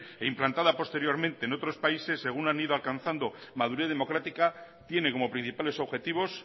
e implantada posteriormente en otros países según han ido alcanzando madurez democrática tiene como principales objetivos